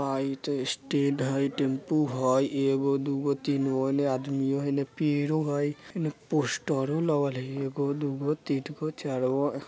स्टेण्ड हई टम्पू हई एगो दूगो तीनगो एने आदमियों हई पेड़ो हई एने पोस्टरों लगल हई | एगो दूगो तीनगो चारगो --